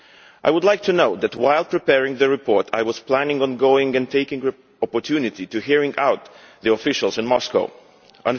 I would like to note that while preparing the report I was planning on going and taking the opportunity to hear what the officials in Moscow had to say.